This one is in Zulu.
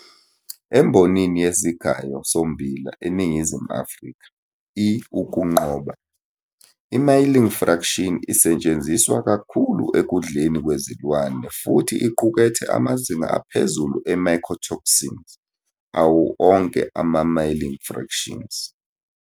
Embonini yesigayo sommbila eNingizimu Afrika, i-"ukuqoba", i-milling fraction isetshenziswa kakhulu ekudleni kwezilwane futhi iqukethe amazinga aphezulu e-mycotoxins awo onke ama-milling fractions.